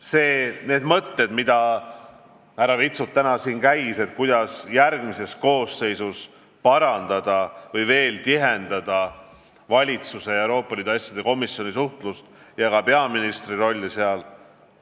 Need on head mõtted, mis härra Vitsut täna välja käis: kuidas järgmises koosseisus veel tihendada valitsuse ja Euroopa Liidu asjade komisjoni suhtlust ja tõhustada ka peaministri rolli selles töös.